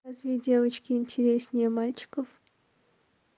разве девочки интереснее мальчиков